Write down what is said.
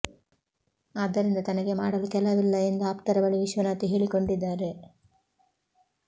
ಆದ್ದರಿಂದ ತನಗೆ ಮಾಡಲು ಕೆಲವಿಲ್ಲ ಎಂದು ಆಪ್ತರ ಬಳಿ ವಿಶ್ವನಾಥ್ ಹೇಳಿಕೊಂಡಿದ್ದಾರೆ